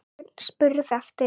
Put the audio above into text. Örn spurði eftir